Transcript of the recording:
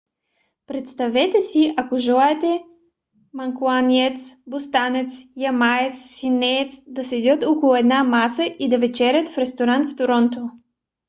представете си ако желаете манкунианец бостънец ямаец и сиднеец да седят около една маса и да вечеря в ресторант в торонто